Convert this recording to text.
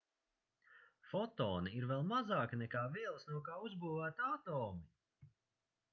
fotoni ir vēl mazāki nekā vielas no kā uzbūvēti atomi